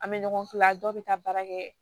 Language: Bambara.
An bɛ ɲɔgɔn kila dɔw bɛ taa baara kɛ